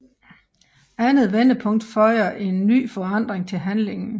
Andet vendepunkt føjer en ny forandring til handlingen